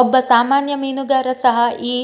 ಒಬ್ಬ ಸಾಮಾನ್ಯ ಮೀನುಗಾರ ಸಹ ಈ